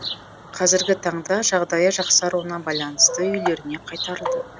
қазіргі таңда жағдайы жақсаруына байланысты үйлеріне қайтарылды